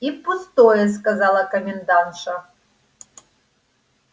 и пустое сказала комендантша